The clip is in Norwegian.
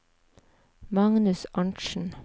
Magnus Arntzen